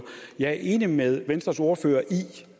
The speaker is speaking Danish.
jeg er enig med venstres ordfører i